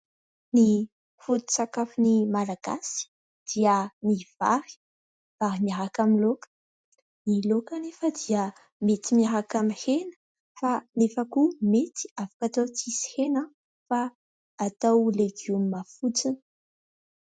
Ny foto-tsakafon'ny Malagasy dia ny vary. Vary miaraka amin'ny laoka ; ny laoka anefa dia mety miaraka amin'ny hena ; fa anefa koa mety afaka atao tsisy hena fa atao legioma fotsiny.